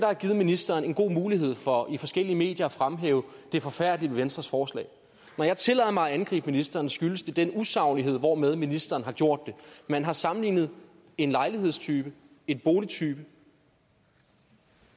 har givet ministeren en god mulighed for i forskellige medier at fremhæve det forfærdelige venstres forslag når jeg tillader mig at angribe ministeren skyldes det den usaglighed hvormed ministeren har gjort det man har sammenlignet en lejlighedstype en boligtype